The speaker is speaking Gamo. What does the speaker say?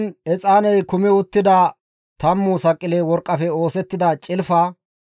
Izan exaaney kumi uttida tammu saqile worqqafe oosettida cilfa.